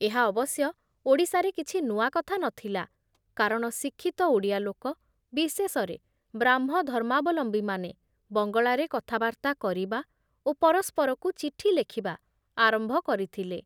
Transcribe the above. ଏହା ଅବଶ୍ୟ ଓଡ଼ିଶାରେ କିଛି ନୂଆ କଥା ନ ଥିଲା କାରଣ ଶିକ୍ଷିତ ଓଡ଼ିଆ ଲୋକ, ବିଶେଷରେ ବ୍ରାହ୍ମଧର୍ମାବଲମ୍ବୀମାନେ, ବଙ୍ଗଳାରେ କଥାବାର୍ତ୍ତା କରିବା ଓ ପରସ୍ପରକୁ ଚିଠିଲେଖିବା ଆରମ୍ଭ କରିଥିଲେ ।